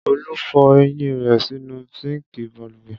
Olu fọ eyín rẹ̀ sínú síńkì balùwẹ̀.